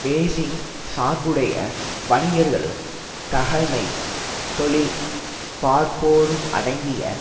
Beijing சார்புடைய வணிகர்களும் தகமை தொழில் பார்ப்போரும் அடங்கிய